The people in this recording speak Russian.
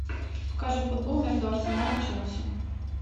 покажи футбол между арсенал и челси